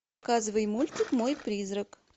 показывай мультик мой призрак